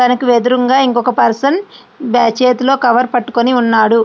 తనకు వెదురుంగా ఇంకో పర్సన్ బ్ చేతిలో కవర్ పట్టుకొని ఉన్నాడు.